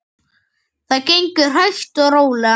Það gengur hægt og rólega.